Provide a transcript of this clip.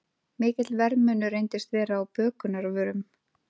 Mikill verðmunur reyndist vera á bökunarvörum